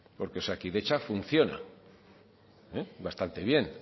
porque osakidetza funciona bastante bien